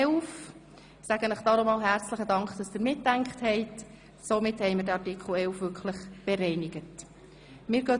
Ich danke Ihnen an dieser Stelle nochmals herzlich für Ihr Mitdenken – so haben wir Artikel 11 wirklich bereinigen können.